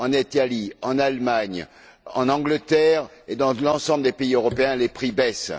En Italie, en Allemagne, en Angleterre et dans l'ensemble des pays européens, les prix baissent.